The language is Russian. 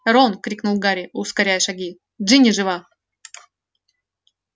рон крикнул гарри ускоряя шаги джинни жива